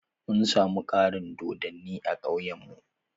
Mun samu ƙarin dodonni a ƙauyan mu.